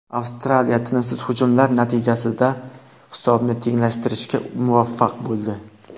Avstraliya tinimsiz hujumlar natijasida hisobni tenglashtirishga muvaffaq bo‘ldi.